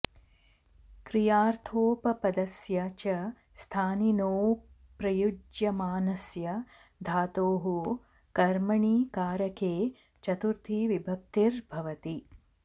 क्रियार्थोपपदस्य च स्थानिनो ऽप्रयुज्यमानस्य धातोः कर्मणि कारके चतुर्थी विभक्तिर् भवति